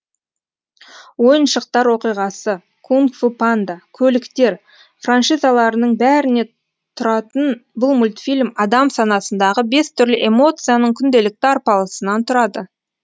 ойыншықтар оқиғасы кунг фу панда көліктер франшизаларының бәріне тұратын бұл мультфильм адам санасындағы бес түрлі эмоцияның күнделікті арпалысынан тұрады